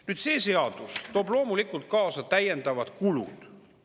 Nüüd, see seadus toob loomulikult kaasa täiendavad kulud.